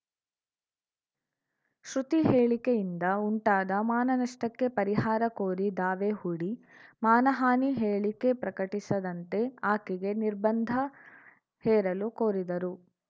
ಶ್ರುತಿ ಹೇಳಿಕೆಯಿಂದ ಉಂಟಾದ ಮಾನನಷ್ಟಕ್ಕೆ ಪರಿಹಾರ ಕೋರಿ ದಾವೆ ಹೂಡಿ ಮಾನಹಾನಿ ಹೇಳಿಕೆ ಪ್ರಕಟಿಸದಂತೆ ಆಕೆಗೆ ನಿರ್ಬಂಧ ಹೇರಲು ಕೋರಿದರು